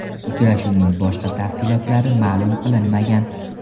Uchrashuvning boshqa tafsilotlari ma’lum qilinmagan.